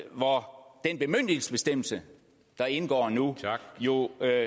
hvor den bemyndigelsesbestemmelse der indgår nu jo giver